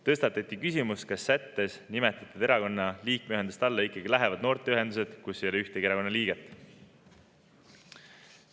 Tõstatati küsimus, kas sättes nimetatud erakonna liikmeühenduste alla ikka lähevad noorteühendused, kus ei ole ühtegi erakonna liiget.